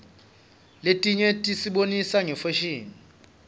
letinye tisibonisa ngefashini